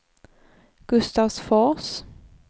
Gustavsfors